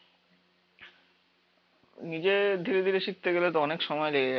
নিজে ধীরে ধীরে শিখতে গেলে তো অনেক সময় লেগে যাবে